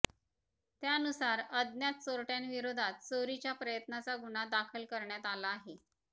त्यानुसार अज्ञात चोरटयांविरोधात चोरीच्या प्रयत्नाचा गुन्हा दाखल करण्यात आला आहे